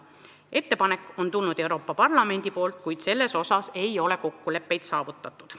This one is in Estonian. Asjaomane ettepanek on küll Euroopa Parlamendist tulnud, kuid selles osas ei ole kokkuleppeid saavutatud.